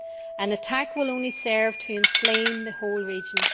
An attack will only serve to inflame the whole region.